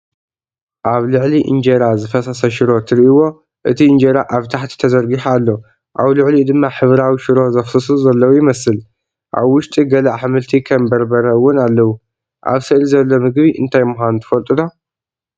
ኣብ ልዕሊ ኢንጀራ ዝፈሰሰ ሽሮ ትርእይዎ። እቲ ኢንጀራ ኣብ ታሕቲ ተዘርጊሑ ኣሎ፡ ኣብ ልዕሊኡ ድማ ሕብራዊ ሽሮ ዘፍስሱ ዘለዉ ይመስል። ኣብ ውሽጢ ገለ ኣሕምልቲ ከም በርበረ እውን ኣለዉ። ኣብ ስእሊ ዘሎ መግቢ እንታይ ምዃኑ ትፈልጡ ዶ?